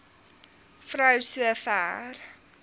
vrou so ver